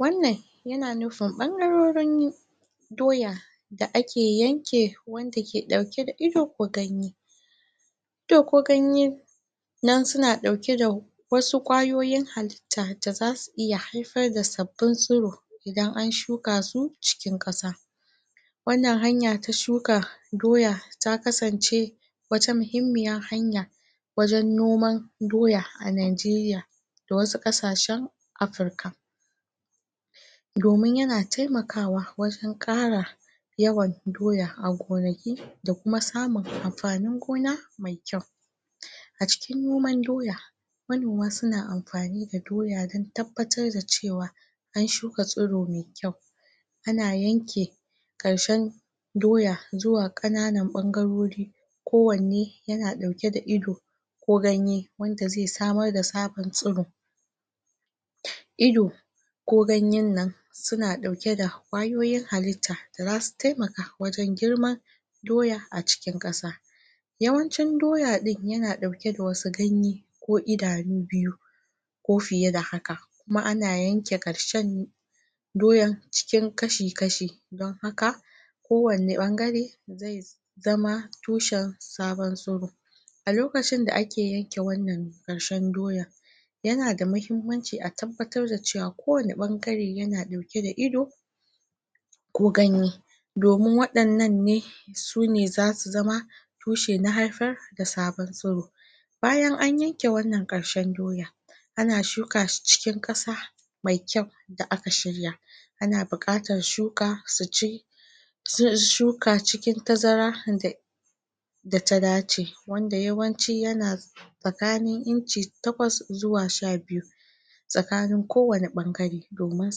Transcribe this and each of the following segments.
wannan yana nufin ɓangarorin doya doya da ake yanke wanda ke ɗauke da ido ko ganye ido ko ganye dan suna ɗauke da wasu ƙwayoyin halitta da zasu iya haifar da sabbin tsuro idan an shukasu cikin ƙasa. Wannan hanya ta shuka doya ta kasance wata muhimmiyar hanya wajen noman doya a Najeriya. Da wasu ƙasashen Afrika. Domin yana taiakawa wajen ƙara yawan doya a gonaki da kuma samun amfanin gona mai kyau. A cikin noman doya manoma suna amfani da doya don tabbatar da cewa an shuka tsuro mai kyau. Ana yanke ƙarshen doya zuwa ƙananan ɓangarori ko wanne yana ɗauke da ido ko ganye wanda zai samar da tsaban tsuro. Ido ko ganyen nan suna ɗauke da ƙwayoyin halitta da zasu taimaka wajen girman doya a cikin ƙasa. Yawancin doya ɗin yana ɗauke da wasu ganye ko idanu biyu. ko fiye da haka. Kuma ana yanke ƙarshen doya cikin kashi-kashi don haka ko wanne ɓangare zai zama tushen sabon tsuro. A lokacin da ake yanke wannan ƙarshen doyan yana da mahimmanci a tabbatar da cewa a kowane ɓangare yana ɗauke da ido ko ganye. domin waɗannan ne sune zasu zama tushe na haifar da sabon tsuro. BA Bayan an yanke wannan ƙarshen doya ana shuka shi cikin ƙasa mai kyau da aka shirya. ana buƙatar shuka su ci shuka cikin tazara da data dace wanda yawanci yana tsakanin inci takwas zuwa sha biyu tsakanin ko wane ɓangare domin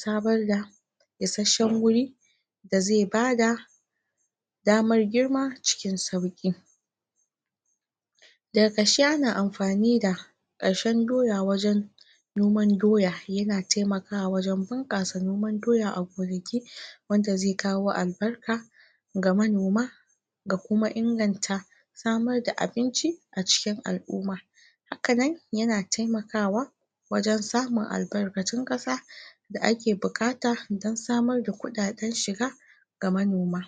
samarda isasshen guri da zai bada damar girma cikin sauƙi. daga ƙarshe ana amfani da ƙarshen doya wajen noman doya yana taimakawa wajen bunƙasa noman doya a gonaki wanda zai kawo albarka ga manoma ga kuma inganta samar da abinci a cikin al'umma hakanan yana taimakawa wajen samun albarkatun ƙasa da ake buƙata dan samar da kuɗaɗen shiga ga manoma.